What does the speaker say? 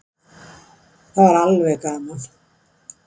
Það var alveg gaman.